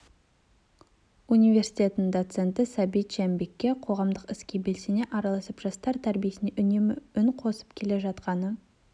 университетінің доценті сәбит жәмбекке қоғамдық іске белсене араласып жастар тәрбиесіне үнемі үн қосып келе жатқаны